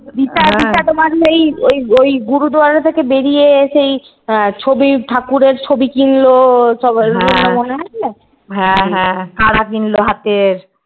দিশা দিশা তোমার ওই ওই গুরুদুয়ারা থেকে বেরিয়ে এসে ছবি ঠাকুরের ছবি কিলনো